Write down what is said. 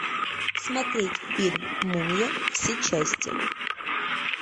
смотреть фильм мумия все части